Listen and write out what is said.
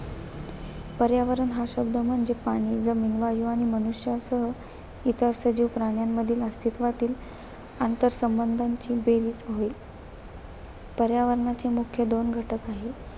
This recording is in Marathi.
पर्यावरण हा शब्द म्हणजे पाणी, जमीन, वायू आणि मनुष्य असो इतर सजीव प्राण्यांमधील अस्तित्वातील अंतरसंबंधाची बेरीज होय. पर्यावरणाचे मुख्य दोन घटक आहेत.